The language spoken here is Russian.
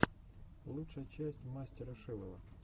лучшая часть мастера шилова